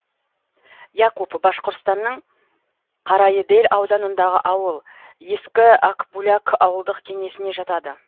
якуп башқұртстанның карайыдель ауданындағы ауыл ескі акбуляк ауылдық кеңесіне жатады